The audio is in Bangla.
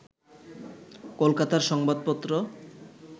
কলকাতার সংবাদপত্র